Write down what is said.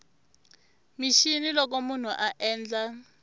mixini loko munhu a endla